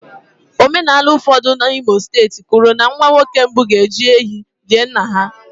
Omenala ụfọdụ n'Imo steeti kwuru na nwa nwoke mbụ ga-eji ehi lie nna ha